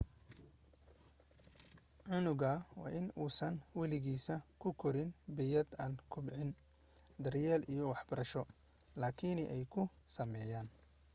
cunugna waa in uusan waligiis ku koraan bey'ad aan kobcin daryeel iyo waxbarasho laakiin ay ku sameeyaan